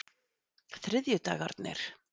þriðjudagarnir